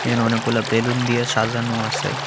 এখানে অনেকগুলা বেলুন দিয়ে সাজানো আছে।